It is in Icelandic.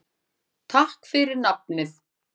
Takk fyrir nafnið.